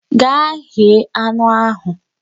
Ga ghee anụ ahụ!